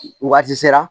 Waati sera